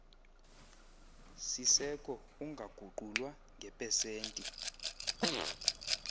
siseko ungaguqulwa ngepesenti